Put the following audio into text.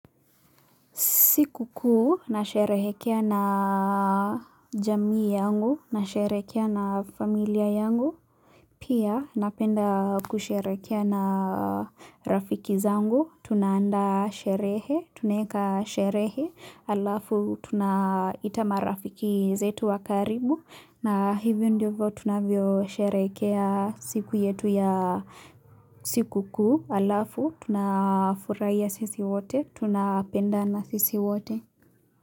Siku kuu nasherehekea na jamii yangu nasherehekea na familia yangu. Pia napenda kusherehekea na rafiki zangu. Tunaandaa sherehe, tunaeka sherehe alafu tunaita marafiki zetu wa karibu. Na hivyo ndivyo tunavyosherehekea siku yetu ya siku kuu alafu tunafurahia sisi wote. Tunapendana sisi wote.